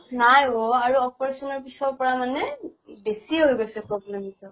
নাই অʼ আৰু operation ৰ পিছৰ পৰা মানে বেছি হৈ গৈছে problem তো